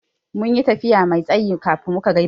Mun yi tafiya Mai tsayi kafin muka ga biri.